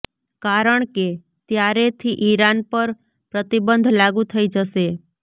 કારણ કે ત્યારેથી ઈરાન પર પ્રતિબંધ લાગૂ થઈ જશે